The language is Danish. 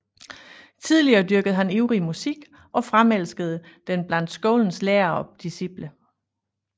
Tillige dyrkede han ivrig musik og fremelskede den blandt skolens lærere og disciple